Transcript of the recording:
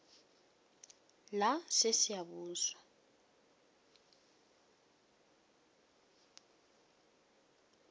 lasesiyabuswa